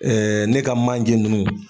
ne ka manje nunnu